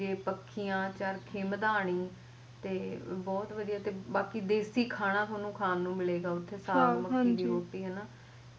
ਤੇ ਪਖਿਆ ਚਰਖ਼ੇ ਮਦਾਣੀ ਤੇ ਬਹੁਤ ਵਧੀਆ ਬਾਕੀ ਦੇਸੀ ਖਾਣਾ ਤੁਹਾਨੂੰ ਖਾਣੀ ਨੂੰ ਮਿਲੇਗਾ ਉਥੇ ਸਾਗ ਮੱਕੀ ਦੀ ਰੋਟੀ ਹੈਨਾ